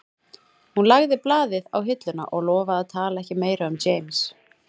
Hún lagði blaðið á hilluna og lofaði að tala ekki meira um James